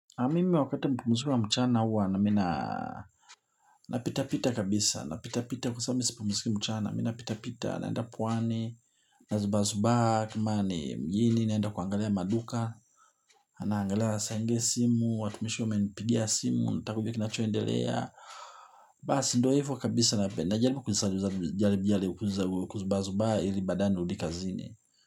Na mimi wakati mzuri wa mchana huwa na mi na napita pita kabisa na pita pita kwa sababu mimi sipumziki mchana mimi na pita pita naenda pwani. Na zubaa zubaa kama ni mjini naenda kuangalia maduka. Anaangalia saa ingine simu watumishi wamenipigia simu wanataka kujua kinachoendelea. Basi ndio hivyo kabisa najaribu kuzubaa zubaa ili baadaye nirudi kazini.